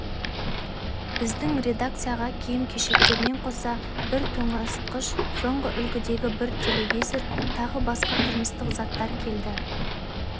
біздің редакцияға киім-кешектермен қоса бір тоңазытқыш соңғы үлгідегі бір телевизор тағы басқа тұрмыстық заттар келді